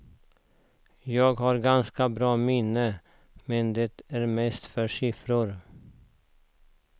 Jag har ganska bra minne, men det är mest för siffror.